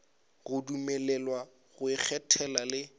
go dumelelwa go ikgethela le